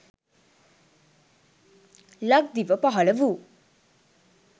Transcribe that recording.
ලක්දිව පහළ වූ